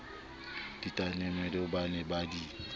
ditaemane ba ne ba di